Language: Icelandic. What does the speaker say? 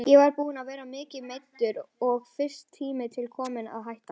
Ég var búinn að vera mikið meiddur og finnst tími til kominn að hætta.